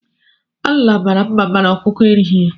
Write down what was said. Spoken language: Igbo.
Alila mara mma mana ọkụkọ erighi ya.